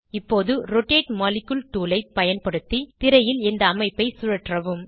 இப்போது rotate molecule tool ஐ பயன்படுத்தி திரையில் இந்த அமைப்பை சுழற்றவும்